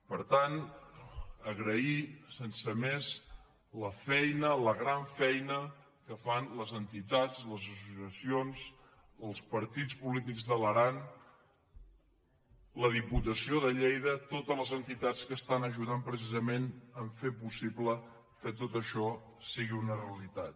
per tant agrair sense més la feina la gran feina que fan les entitats les associacions els partits polítics de l’aran la diputació de lleida totes les entitats que es·tan ajudant precisament a fer possible que tot això si·gui una realitat